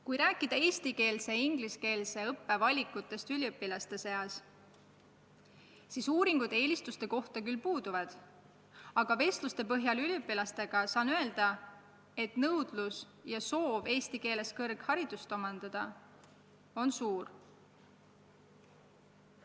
Kui rääkida eestikeelse ja ingliskeelse õppe valikutest üliõpilaste seas, siis uuringud eelistuste kohta puuduvad, aga vestluste põhjal üliõpilastega saan öelda, et soov eesti keeles kõrgharidust omandada on suur.